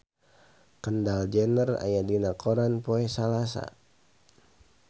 Kendall Jenner aya dina koran poe Salasa